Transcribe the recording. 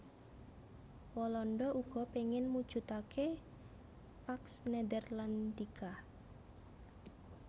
Walanda uga péngin mujudaké Pax Netherlandica